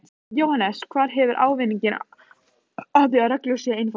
Jóhannes: Hver hefur ávinning af því að reglur séu einfaldaðar?